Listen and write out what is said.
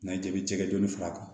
N'an ye jaabi jɛgɛ dɔɔnin fara a kan